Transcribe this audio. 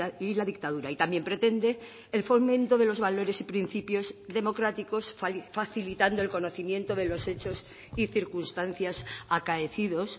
y la dictadura y también pretende el fomento de los valores y principios democráticos facilitando el conocimiento de los hechos y circunstancias acaecidos